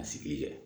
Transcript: A sigi